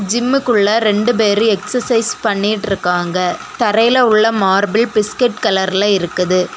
ஜிம்முகுள்ள ரெண்டு பேரு எக்சசைஸ் பண்ணிட்டு இருக்காங்க தரையில உள்ள மார்பில் பிஸ்கட் கலர்ல இருக்குது.